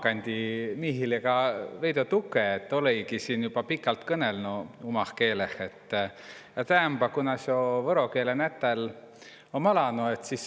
Kuna om võro keele nätal, sis ma mõtli, õt tulõ sis umakandi miihile tukõ tegemä ja kõnõlõ kah umah keeleh.